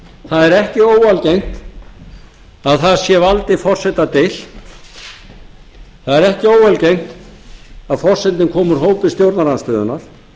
það er ekki óalgengt að þar sé valdi forseta deilt það er ekki óalgengt að forsetinn komi úr hópi stjórnarandstöðuna